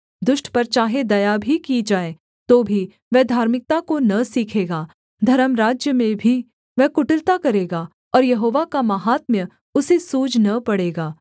दुष्ट पर चाहे दया भी की जाए तो भी वह धार्मिकता को न सीखेगा धर्मराज्य में भी वह कुटिलता करेगा और यहोवा का माहात्म्य उसे सूझ न पड़ेगा